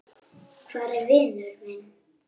Hvað er að, vinur minn?